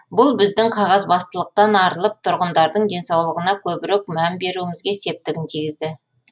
бұл біздің қағазбастылықтан арылып тұрғындардың денсаулығына көбірек мән беруімізге септігін тигізді